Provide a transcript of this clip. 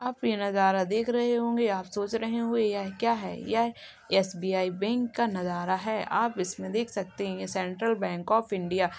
आप ये नजारा देख रहे होंगे। आप सोच रहे होंगे यह क्या है? यह एसबीआई बैंक का नजारा है। आप इसमें देख सकते हैं सेंट्रल बैंक आफ इंडिया --